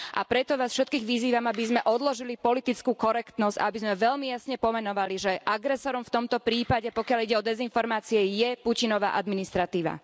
A preto vás všetkých vyzývam, aby sme odložili politickú korektnosť a aby sme veľmi jasne pomenovali, že agresorom v tomto prípade, pokiaľ ide o dezinformácie, je Putinova administratíva.